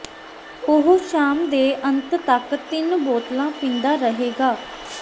ਉਹ ਸ਼ਾਮ ਦੇ ਅੰਤ ਤੱਕ ਤਿੰਨ ਬੋਤਲਾਂ ਪੀਂਦਾ ਰਹੇਗਾ